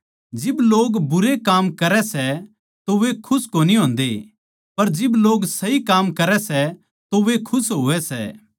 जिब लोग बुरे काम करै सै तो वे खुश कोनी होन्दे पर जिब लोग सही काम करै सै तो वे खुश होवै सै